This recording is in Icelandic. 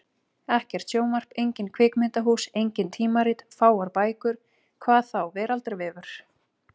Ekkert sjónvarp, engin kvikmyndahús, engin tímarit, fáar bækur. hvað þá veraldarvefur!